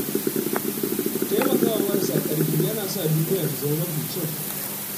Taimakawa marasa ƙarfi yana sa duniya ta zama mafi kyau.